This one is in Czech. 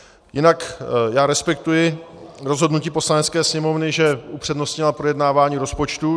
Jinak já respektuji rozhodnutí Poslanecké sněmovny, že upřednostnila projednávání rozpočtu.